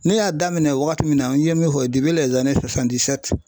Ne y'a daminɛ wagati min na n ye min fɔ